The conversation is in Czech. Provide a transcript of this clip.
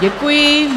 Děkuji.